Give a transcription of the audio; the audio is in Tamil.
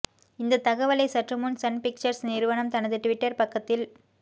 இந்த தகவலை சற்றுமுன் சன் பிக்சர்ஸ் நிறுவனம் தனது டுவிட்டர் பக்கத்தில்